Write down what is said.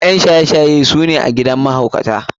ƴan shaye shaye su ne a gidan mahaukata.